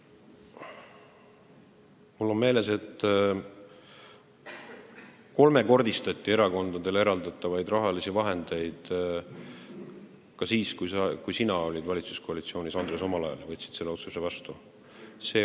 Mul on meeles, et erakondadele eraldatavat raha kolmekordistati ka siis, kui sina omal ajal valitsuskoalitsioonis olid, sa võtsid selle otsuse vastu.